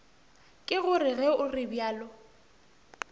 ke gore ge o realo